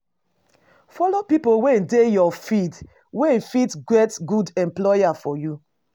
Follow pipo wey dey your field wey fit get good employer for you